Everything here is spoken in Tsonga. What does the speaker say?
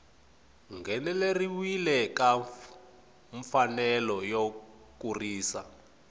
ngheneleriwa ka mfanelo yo kurisa